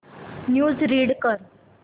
news read कर